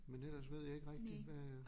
Men ellers ved jeg ikke rigtig hvad